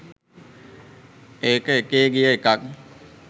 ඒකඑකේ ගිය එකක්